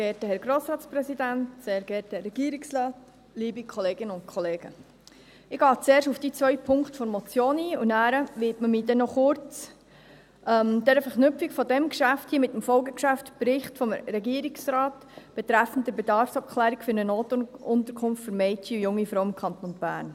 Ich gehe zuerst auf die zwei Punkte der Motion ein, danach widme ich mich noch kurz der Verknüpfung dieses Geschäfts hier mit dem Folgegeschäftsbericht des Regierungsrates betreffend die Bedarfsabklärung für eine Notunterkunft für Mädchen und junge Frauen im Kanton Bern.